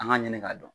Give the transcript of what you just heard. An ka ɲini k'a dɔn